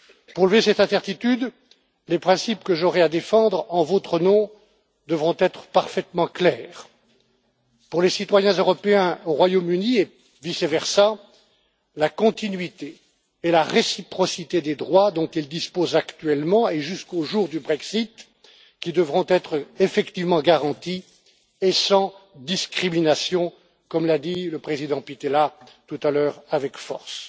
Pour lever cette incertitude, les principes que j'aurai à défendre en votre nom devront être parfaitement clairs. Pour les citoyens européens au Royaume Uni et vice versa, la continuité et la réciprocité des droits dont ils disposent actuellement, jusqu'au jour du Brexit, devront être effectivement garanties et sans discrimination, comme l'a dit le président Pittella tout à l'heure avec force.